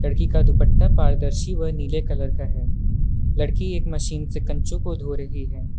लड़की का दुपट्टा पारदर्शी व नीले कलर का है लड़की एक मशीन से कंचो को धो रही है।